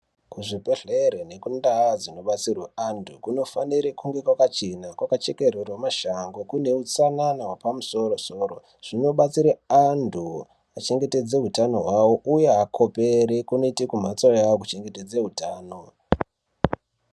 Kuzvibhehlere nekundau dzinobetserwe antu kunofanire kunge kwakachena kwakachekererwe mashango kune utsanana wepamusoro-soro. Zvinobatsire antu kuchengete utano hwawo uye kuti akopere kunoite kumhatso yawo kuchengetedze utano.